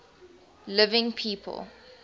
living people